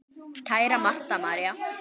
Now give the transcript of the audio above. Kæra Marta María.